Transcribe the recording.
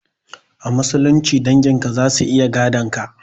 A musulunci dangin ka zasu iya gadon ka.